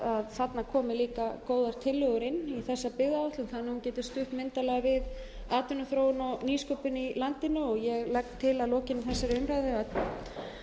þarna komi líka góðar tillögur inn í þessa byggðaáætlun þannig að hún geti stutt myndarlega við atvinnuþróun og nýsköpun í landinu ég legg til að lokinni þessari umræðu